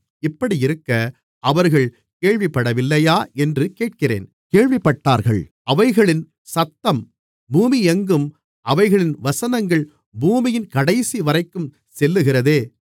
இப்படியிருக்க அவர்கள் கேள்விப்படவில்லையா என்று கேட்கிறேன் கேள்விப்பட்டார்கள் அவைகளின் சத்தம் பூமியெங்கும் அவைகளின் வசனங்கள் பூமியின் கடைசிவரைக்கும் செல்லுகிறதே